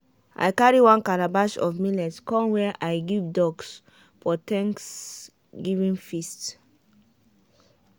i carry one calabash of millet come wey i give ducks for thanksgiving feast.